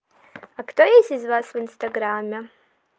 а кто есть из вас в инстаграме